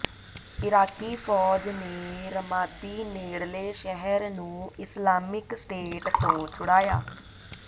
Iraqi ਫ਼ੌਜ ਨੇ Ramadi ਨੇਡ਼ਲੇ ਸ਼ਹਿਰ ਨੂੰ ਇਸਲਾਮਿਕ ਸਟੇਟ ਤੋਂ ਛੁਡਾਇਆ